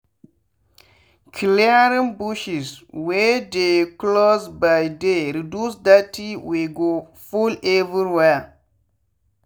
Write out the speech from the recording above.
clearing bushes wey dey closeby dey reduce dirty wey go full everywhere.